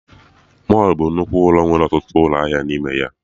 Mọlụ bụ nnukwu ụlọ nwere ọtụtụ ụlọ ahịa n'ime ya